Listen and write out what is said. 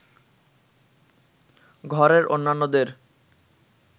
ঘরের অন্যান্যদের